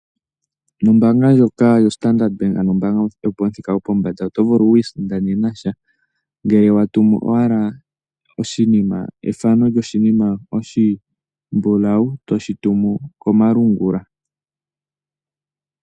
Nombaanga ndjoka yoStandrad bank ano ombaanga yopamuthika gwopombanda, oto vulu oku isindanena sha, ngele wa tumu owala ethano lyoshinima oshimbulawu, toshi tumu komalungula.